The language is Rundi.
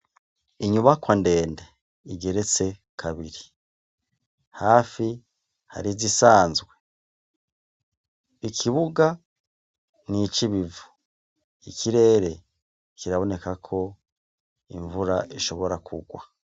Inyubakwa ndende igeretse kabiri. Hafi hari izisanzwe. Ikibuga ni ic'ibivu. Ikirere kiraboneka ko imvura ishobora kugwa.